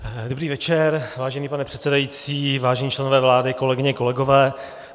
Dobrý večer, vážený pane předsedající, vážení členové vlády, kolegyně, kolegové.